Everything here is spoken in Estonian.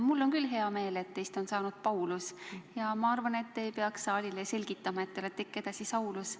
Mul on küll hea meel, et teist on saanud Paulus, ja ma arvan, et te ei peaks saalile selgitama, et te olete ikka edasi Saulus.